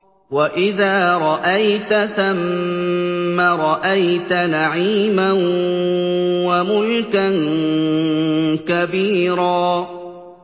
وَإِذَا رَأَيْتَ ثَمَّ رَأَيْتَ نَعِيمًا وَمُلْكًا كَبِيرًا